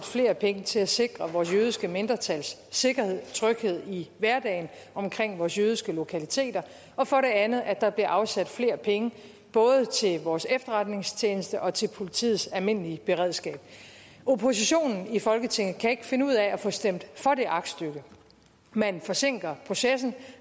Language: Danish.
flere penge til at sikre vores jødiske mindretals sikkerhed og tryghed i hverdagen omkring vores jødiske lokaliteter og for det andet at der bliver afsat flere penge både til vores efterretningstjeneste og til politiets almindelige beredskab oppositionen i folketinget kan ikke finde ud af at få stemt for det aktstykke man forsinker processen og